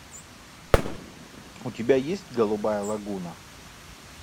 у тебя есть голубая лагуна